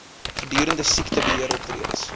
gedurende siektebe heeroptredes